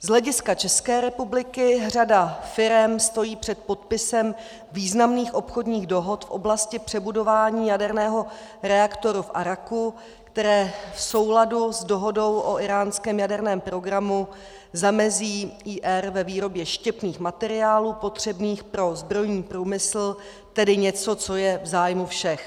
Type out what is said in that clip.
Z hlediska České republiky řada firem stojí před podpisem významných obchodních dohod v oblasti přebudování jaderného reaktoru v Aráku, které v souladu s dohodou o íránském jaderném programu zamezí Ír. ve výrobě štěpných materiálů potřebných pro zbrojní průmysl, tedy něco, co je v zájmu všech.